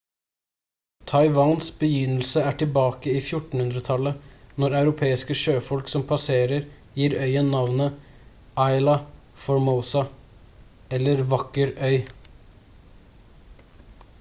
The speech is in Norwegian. taiwans begynnelse er tilbake i 1400-tallet når europeiske sjøfolk som passerer gir øyen navnet ilha formosa eller vakker øy